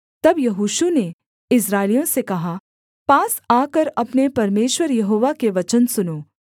तब यहोशू ने इस्राएलियों से कहा पास आकर अपने परमेश्वर यहोवा के वचन सुनो